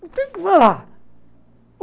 Não tem o que falar.